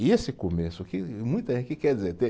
E esse começo, o que, o que quer dizer?